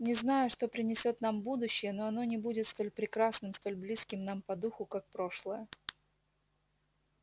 не знаю что принесёт нам будущее но оно не будет столь прекрасным столь близким нам по духу как прошлое